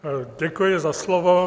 Děkuji za slovo.